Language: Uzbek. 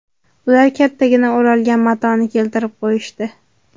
Ular kattagina o‘ralgan matoni keltirib qo‘yishdi.